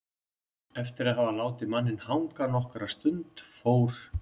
Eftir að hafa látið manninn hanga nokkra stund fór